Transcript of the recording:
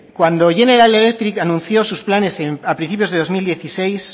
cuando general electric anunció sus planes a principios de dos mil dieciséis